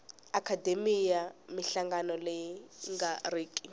akhademiya minhlangano leyi nga riki